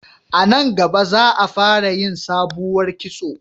A nan gaba za a fara yin sabuwar kitso